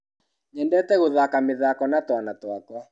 Nyendete gũthaka mĩthako na twana twakwa.